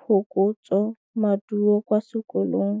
phokotsômaduô kwa sekolong.